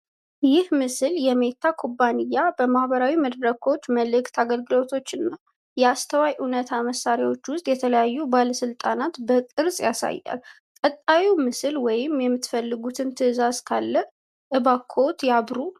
ይህ ምስል የሚታ ኩባንያ በማህበራዊ መድረኮች፣ መልእክት አገልግሎቶች እና የአስተዋይ እውነት መሳሪያዎች ውስጥ ያለውን ባለስልጣንነት በቅርጽ ያሳያል። ቀጣዩን ምስል ወይም የምትፈልጉትን ትእዛዝ ካለ እባኮትን ያብሩ።